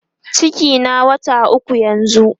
cikin na wata ukwu yanzun